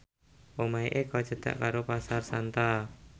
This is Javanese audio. omahe Eko cedhak karo Pasar Santa